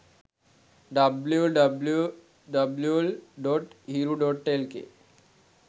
www.hiru.lk